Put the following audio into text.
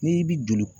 N'i bi don